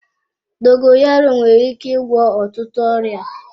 Dogoyaro nwere ike ịgwọ ọtụtụ ọrịa.